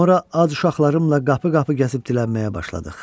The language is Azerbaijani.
Sonra az uşaqlarımla qapı-qapı gəzib dilənməyə başladıq.